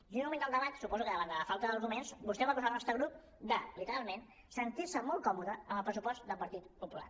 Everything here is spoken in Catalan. i en un moment del debat suposo que davant de la falta d’arguments vostè va acusar el nostre grup de literalment sentir se molt còmode amb el pressupost del partit popular